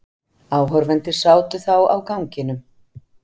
Áhorfendur sátu þá á ganginum.